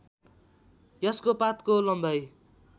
यसको पातको लम्बाइ